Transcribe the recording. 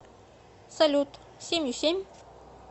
салют семью семь